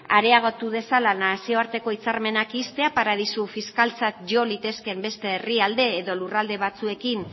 areagotu dezala nazioarteko hitzarmenak ixtea paradisu fiskaltzat jo litezkeen beste herrialde edo lurralde batzuekin